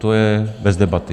To je bez debaty.